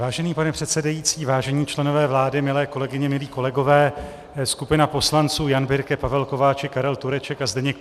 Vážený pane předsedající, vážení členové vlády, milé kolegyně, milí kolegové, skupina poslanců Jan Birke, Pavel Kováčik, Karel Tureček a Zdeněk